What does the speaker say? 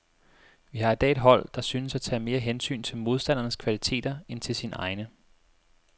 Vi har i dag et hold, der synes at tage mere hensyn til modstandernes kvaliteter end til sine egne.